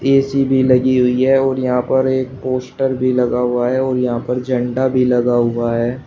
AC भी लगी हुई है और यहां पर एक पोस्टर भी लगा हुआ है और यहां पर झंडा भी लगा हुआ है।